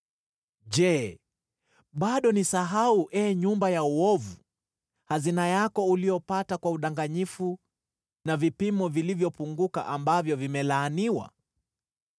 Je, bado nisahau, ee nyumba ya uovu, hazina yako uliyopata kwa udanganyifu na vipimo vilivyopunguka, ambavyo vimelaaniwa?